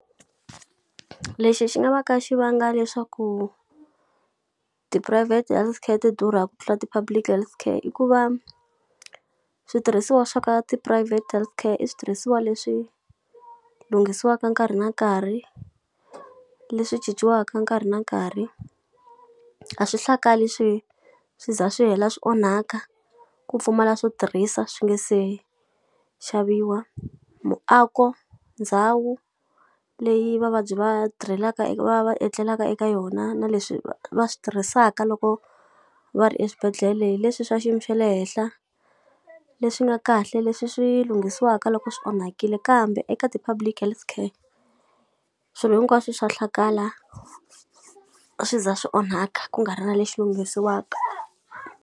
Lexi xi nga va ka xi vanga leswaku ti-private health care ti durha ku tlula ti-public health care i ku va, switirhisiwa swa ka ti-private health care i switirhisiwa leswi lunghisiwaka nkarhi na nkarhi, leswi cinciwaka nkarhi na nkarhi. A swi hlakali swi swi za swi hela swi onhaka, ku pfumala swo tirhisa swi nga se xaviwa. Muako, ndhawu leyi va vabyi va tirhelaka eka va va etlelaka eka yona na leswi va va swi tirhisaka loko va ri exibedhlele hi leswi swa xiyimo xa le henhla, leswi nga kahle, leswi swi lunghisiwaka loko swi onhakile. Kambe eka ti-public health care, swilo hinkwaswo swa hlakala swi za swi onhaka ku nga ri na lexi lunghisiwaka.